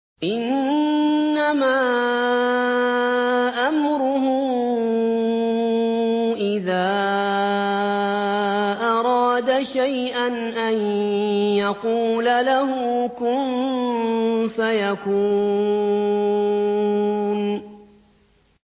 إِنَّمَا أَمْرُهُ إِذَا أَرَادَ شَيْئًا أَن يَقُولَ لَهُ كُن فَيَكُونُ